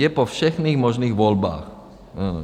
Je po všech možných volbách.